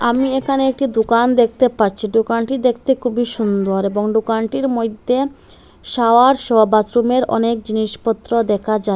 আমি এখানে একটি দুকান দেখতে পাচ্চি দোকানটি দেখতে খুবই সুন্দর এবং দোকানটির মইদ্যে শাওয়ার সহ বাথরুমের অনেক জিনিসপত্র দেখা যা--